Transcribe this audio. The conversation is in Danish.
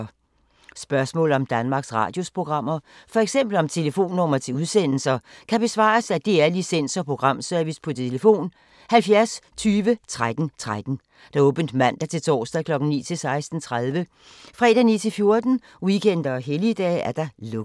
Spørgsmål om Danmarks Radios programmer, f.eks. om telefonnumre til udsendelser, kan besvares af DR Licens- og Programservice: tlf. 70 20 13 13, åbent mandag-torsdag 9.00-16.30, fredag 9.00-14.00, weekender og helligdage: lukket.